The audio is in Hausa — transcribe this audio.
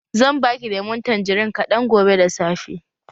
Zan baki lemun tanjirin kaɗan gobe da safe.